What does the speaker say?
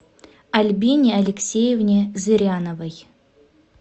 альбине алексеевне зыряновой